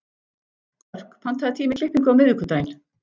Örk, pantaðu tíma í klippingu á miðvikudaginn.